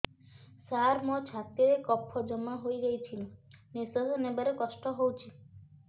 ସାର ମୋର ଛାତି ରେ କଫ ଜମା ହେଇଯାଇଛି ନିଶ୍ୱାସ ନେବାରେ କଷ୍ଟ ହଉଛି